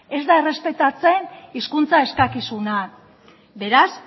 ez da errespetatzen hizkuntza eskakizunak beraz